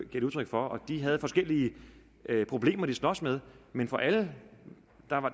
de udtryk for og de havde forskellige problemer de sloges med men fra alle